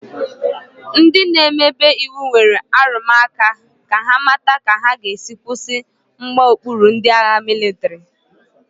Ndị n'emebe iwu nwere arụmụka ka ha mata ka ha ga-esi kwụsị mgbaokpuru ndị agha mịlịtrị.